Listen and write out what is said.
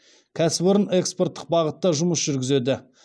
кәсіпорын экспорттық бағытта жұмыс жүргізеді